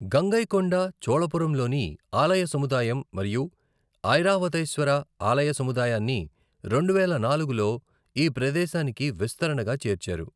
గంగైకొండ చోళపురం లోని ఆలయ సముదాయం మరియు ఐరావతేశ్వర ఆలయ సముదాయాన్ని రెండువేల నాలుగులో ఈ ప్రదేశానికి విస్తరణగా చేర్చారు.